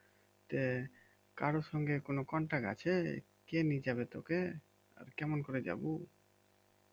আহ কারো সঙ্গে কোনো contact আছে? কে নিয়ে যাবে তোকে? কেমন করে যাবো?